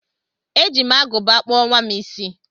E ji m aguba kpụọ nwam isi